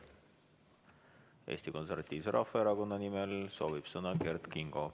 Eesti Konservatiivse Rahvaerakonna nimel soovib sõna Kert Kingo.